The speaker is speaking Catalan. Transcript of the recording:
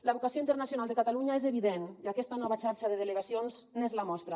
la vocació internacional de catalunya és evident i aquesta nova xarxa de delegacions n’és la mostra